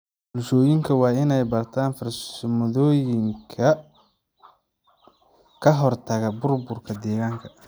Bulshooyinka waa inay bartaan farsamooyinka ka hortagga burburka deegaanka.